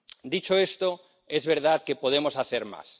Dicho esto, es verdad que podemos hacer más.